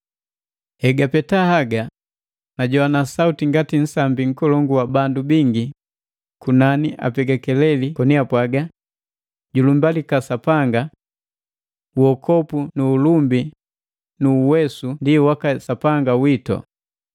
Egapeta haga najoana sauti ngati nsambi nkolongu wa bandu bingi kunani apega keleli koni apwaga: “Julumbalika Sapanga! Uokopu nu ulumbi nu uwesu ndi waka Sapanga witu,